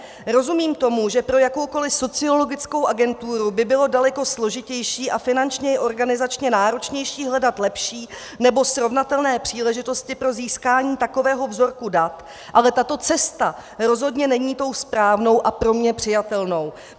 Rozumím tomu, že pro jakoukoliv sociologickou agenturu by bylo daleko složitější a finančně i organizačně náročnější hledat lepší, nebo srovnatelné příležitosti pro získání takového vzorku dat, ale tato cesta rozhodně není tou správnou a pro mě přijatelnou.